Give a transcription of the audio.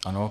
Ano.